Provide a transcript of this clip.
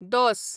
दोस